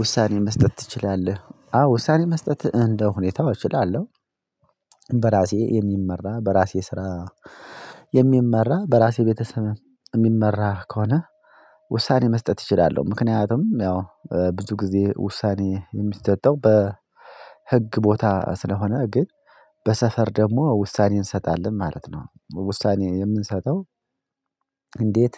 ውሳኔ መስጠት ትችላለህ? አዎ ውሳኔ መስጠት እንደ ሁኔታው እችላለሁ። በራሴ የሚመራ በራሴ ስራ የሚመራ በራሴ ቤተሰብ የሚመራ ከሆነ። ውሳኔ መስጠት እችላለሁ ምክንያቱም ያው ብዙ ጊዜ ውሳኔ የሚሰጠው በህግ ቦታ ስለሆነ ግን በሰፈር ደግሞ ውሳኔ እንሰጣለን ማለት ነው። ውሳኔ የምንሰጠው እንዴት?